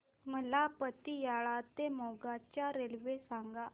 मला पतियाळा ते मोगा च्या रेल्वे सांगा